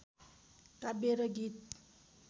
काव्य र गीत